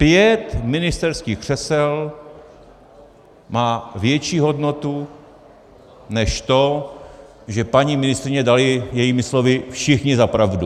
Pět ministerských křesel má větší hodnotu, než to, že paní ministryni dali jejími slovy všichni za pravdu.